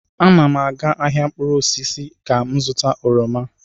Ana m aga ahịa mkpụrụ osisi ka m zụta oroma.